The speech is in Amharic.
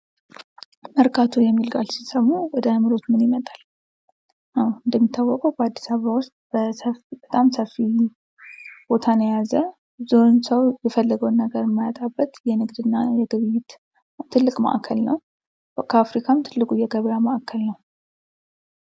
መርካቶ የሚል ቃል ሲሰሙ ወደ አዕምሮዎ ምን ይመጣል? አወ እንደሚታወቀው በአዲሳበባ ውስጥ በጣም ሰፊ ቦታን የያዘ ብዙውን ሰው የፈለገውን ነገር የማያጣበት የንግድና የግብይት ትልቅ ማዕከል ነው። ከአፍሪካም ትልቁ የገበያ ማዕከል ነው።